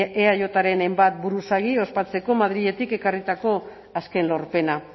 eajren hainbat buruzagi ospatzeko madriletik ekarritako azken lorpena